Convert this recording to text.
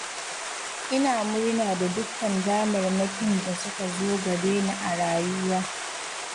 Ina murna da dukkan damarmakin da suka zo gare ni a rayuwa.